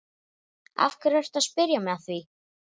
Af hverju ertu að spyrja mig að því?